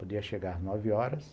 Podia chegar às nove horas.